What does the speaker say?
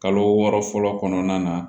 Kalo wɔɔrɔ fɔlɔ kɔnɔna na